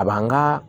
A b'an ka